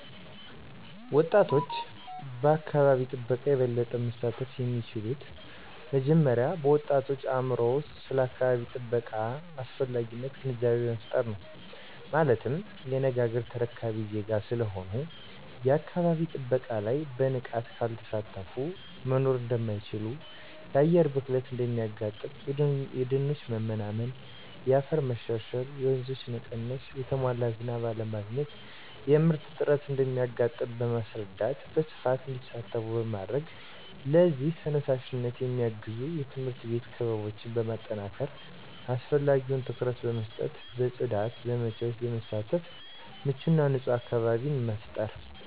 ወጣቶች በአካባቢ ጥበቃ የበለጠ መሳተፍ የሚችሉት መጀመሪያ በወጣቶች አእምሮ ውስጥ ስለ አካባቢ ጥበቃ አስፈላጊነት ግንዛቤ በመፍጠር ነው። ማለትም የነገ አገር ተረካቢ ዜጋ ስለሆኑ የአካባቢ ጥበቃ ላይ በንቃት ካልተሳተፊ መኖር እደማይችሉ የአየር ብክለት እንደሚያጋጥም :የደኖች መመናመን :የአፈር መሸርሸር :የወንዞች መቀነስ: የተሟላ ዝናብ አለማግኘት :የምርት እጥረት እንደሚያጋጥም በማስረዳት በስፋት እንዲሳተፉ ማድረግ ለዚህም ተነሳሽነት የሚያግዙ የትምህርት ቤት ክበቦችን በማጠናከር አስፈላጊውን ትኩረት በመስጠት በጽዳት ዘመቻወች በመሳተፍ ምቹና ንጹህ አካባቢን መፍጠር።